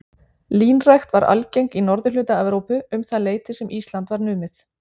Línrækt var algeng í norðurhluta Evrópu um það leyti sem Ísland var numið.